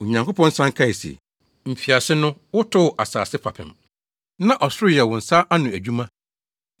Onyankopɔn san kae se, “Mfiase no wotoo asase fapem, na ɔsoro yɛ wo nsa ano adwuma.